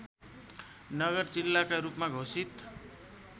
नगर जिल्लाका रूपमा घोषित